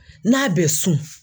N'a bɛ su.